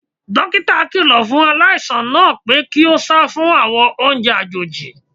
Dókítà kíló fún aláìsàn náà pé kí ó sá fún àwọn oúnjẹ àjòjì.